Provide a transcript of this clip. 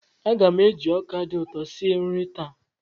Aga m eji ọka dị ụtọ sie nri taa.